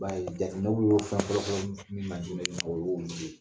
I b'a ye jateminɛw y'o fɛn fɔlɔ-fɔlɔ min ma o y'olu de ye